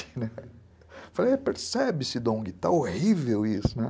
Eu falei, percebe-se, Dong, está horrível isso.